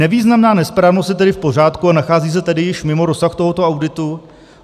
Nevýznamná nesprávnost je tedy v pořádku a nachází se tedy již mimo rozsah tohoto auditu?